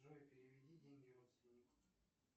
джой переведи деньги родственнику